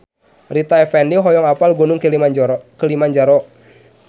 Rita Effendy hoyong apal Gunung Kilimanjaro